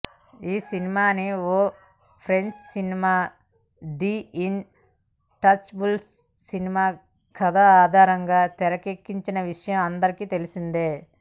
ఈ సినిమాని ఓ French cinema the Intouchables cinema కథ ఆధారంగా తెరకెక్కిన విషయం అందరికి తెలిసిందే